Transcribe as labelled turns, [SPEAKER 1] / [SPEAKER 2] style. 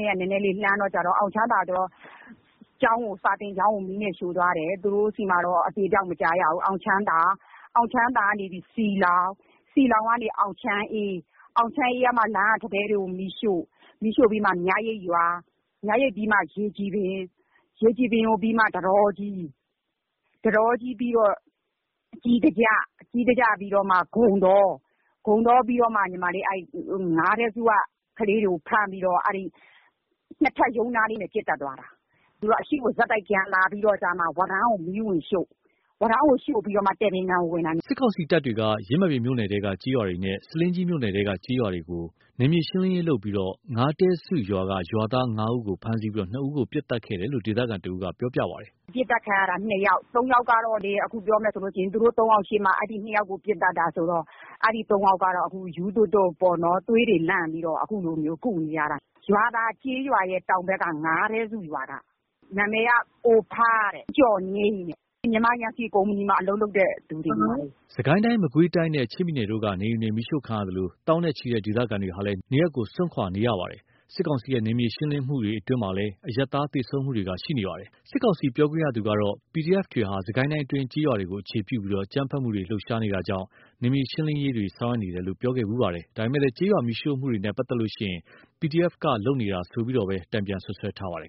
[SPEAKER 1] နဲ့ နည်းနည်းလှမ်းတယ်။ အောင်ချမ်းသာမှက စာသင်ကျောင်းကိုပါ မီးနဲ့ ရှို့သွားတယ်။ အဲ့ဒီမှာ အသေအပျောက်တော့ မကြားရဘူး။ အောင်ချမ်းသာကနေပြီး စည်လှောင်၊ စည်လှောင်ကနေ အောင်ချမ်းအေး၊ အောင်ချမ်းအေးကမှ လမ်းက ထန်းတဲတွေကို မီးရှို့။ အဲ့ကနေမှ မြရိပ်ရွာ၊ မြရိပ်ပြီးမှ ရေကြည်ပင်၊ ထန်းတောကြီး၊ ထန်းတောကြီးပြီးတော့ ကြေးစာကျ၊ ကြေးစာကျပြီးတော့မှ ဂုန်တော၊ ဂုန်တောပြီးတော့မှ ငါးတဲ့စုရွာက ကလေးတွေကို ဖမ်းပြီးတော့ ၂ ထပ်ရုံးနားလေးမှာ ပစ်သတ်သွားတာ။ သူတို့က အရှေ့ကို ဆက်တိုက်လာပြီးတော့မှ ဝါးတန်းကို မီးဝင်ရှို့။ ဝါးတန်းကို ရှို့ပြီးတော့မှ တည်ပင်ကန်ကို ဝင်တာ။” စ
[SPEAKER 2] စ်ကောင်စီတပ်တွေက ယင်းမာပင်မြို့နယ်ထဲက ကျေးရွာတွေနဲ့ ဆားလင်းကြီးမြို့နယ်ထဲက ကျေးရွာတွေကိုပါ နယ်မြေရှေင်းလင်းရေးလုပ်ပြီး ငါးတဲစုရွာက ရွာသား ၅ ဦးကို ဖမ်းဆီးပြီး ၂ ဦးကို ပစ်သတ်ခဲ့တယ်လို့ ဒေသခံတဦးက ခုလိုပြောပါတယ်
[SPEAKER 1] ။ “ပစ်သတ်ခံရတာ ၂ ယောက်။ ၃ ယောက်ကတော့ ပြောရမယ်ဆိုရင် အဲ့ ၃ ယောက်ရှေ့မှာ ၂ ယောက်ကို ပစ်သတ်တာဆိုတော့ အဲ့ ၃ ယောက်ကတော့ ခု ရူးသွပ်သွပ်ပေါ့နော်။ သွေးလန့်ပြီးတော့ ခုကုနေရတယ်။ ရွာသာကျေးရွာရဲ့တောင်ဘက် ငါးတဲစုရွာက၊ နာမည်က ကိုဖား၊ ဦးကျော်ငြိမ်းတဲ့။ မြန်မာယမ်စီကုမ္ပဏီမှာ အလုပ်လုပ်တဲ့ သူတွေ။”
[SPEAKER 2] စစ်ကိုင်းတိုင်း မကွေးတိုင်းနဲ့ ချင်းပြည်နယ်တို့က နေအိမ်တွေ မီးရှို့ခံရသလို သောင်းနဲ့ချီတဲ့ ဒေသခံတွေဟာလည်း နေရပ်ကို စွန့်ခွာနေကြရပြီး စစ်ကောင်စီရဲ့ နယ်မြေရှင်းလင်းမှုတွေအတွင်း အရပ်သားတွေ သေဆုံးမှုတွေလည်းရှိနေပါတယ်။ စစ်ကောင်စီပြောခွင့်ရသူကတော့ PDF တွေဟာ စစ်ကိုင်းတိုင်းအတွင်း ကျေးရွာတွေကို အခြေပြုပြီး အကြမ်းဖက်မှုတွေ လှုပ်ရှားနေတာကြောင့်၊ နယ်မြေရှင်းလင်းရေးတွေ ဆောင်ရွက်နေတယ်လို့ ပြောခဲ့ဖူပါတယ်။ ဒါပေမယ့် ကျေးရွာမီးရှို့မှုတွေနဲ့ပတ်သက်ရင်၊ PDF ဘက်က လုပ်နေတာဆိုပြီးတော့လည်း စစ်ကောင်စီဘက်က တန်ပြန်စွပ်စွဲထားပါတယ်